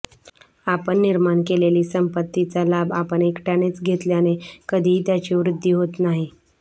आपण निर्माण केलेली संपत्तीचा लाभ आपण एकट्यानेच घेतल्याने कधीही त्याची वृद्धी होत नाही